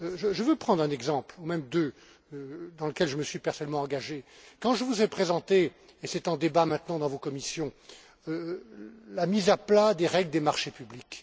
Je veux prendre un exemple, même deux, dans lesquels je me suis personnellement engagé quand je vous ai présenté, et c'est maintenant en débat dans vos commissions, la mise à plat des règles des marchés publics